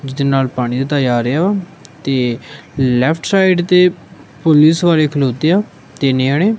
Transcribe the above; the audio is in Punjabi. ਇਸਦੇ ਨਾਲ ਪਾਣੀ ਦਾ ਜਾ ਰਿਹਾ ਤੇ ਲੈਫਟ ਸਾਈਡ ਤੇ ਪੁਲਿਸ ਵਾਲੇ ਖਲੋਤੇ ਆ ਤਿੰਨ ਜਣੇ।